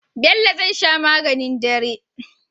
Bello zai sha maganin dare